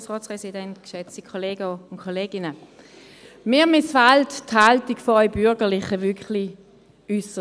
Mir missfällt diese Haltung von Ihnen, den Bürgerlichen, wirklich äusserst.